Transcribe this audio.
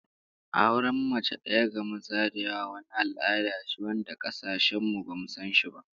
Auren mace daya ga maza da yawa wani al'ada ce wanda kasashen mu bamu san shi ba